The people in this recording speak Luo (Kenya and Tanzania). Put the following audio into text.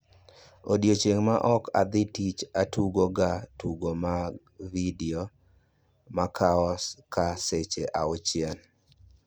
Odiechieng' ma ok adhi tich atugo ga tugo mag vidio makao ka seche 6